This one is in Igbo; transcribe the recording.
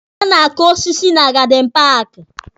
A na-akụ osiso na gadin paaki.